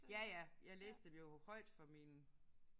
Ja ja. Jeg læste dem jo højt for mine